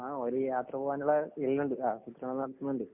ആ ഒരു യാത്ര പോവാനുള്ള